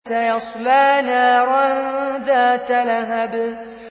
سَيَصْلَىٰ نَارًا ذَاتَ لَهَبٍ